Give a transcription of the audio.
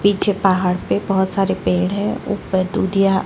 पीछे पहाड़ पे बहुत सारे पेड़ है ऊपर दूधिया --